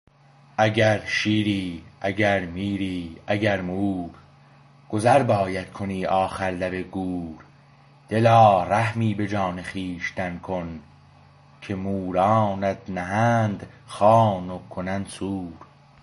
اگر شیری اگر میری اگر مور گذر باید کنی آخر لب گور دلا رحمی به جان خویشتن کن که مورانت نهند خوان و کنند سور